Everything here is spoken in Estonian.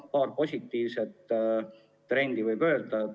Paar positiivset trendi võib juba esile tuua.